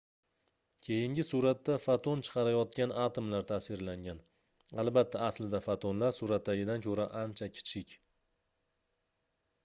keyingi suratda foton chiqarayotgan atomlar tasvirlangan albatta aslida fotonlar suratdagidan koʻra ancha kichik